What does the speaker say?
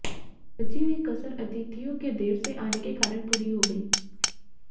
बची हुई कसर अतिथियों के देर से आने के कारण पूरी हो गई